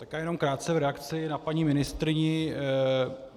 Tak já jenom krátce v reakci na paní ministryni.